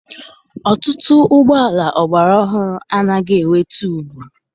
Ọtụtụ ụgbọala ọgbara ọhụrụ anaghị enwe tuubu.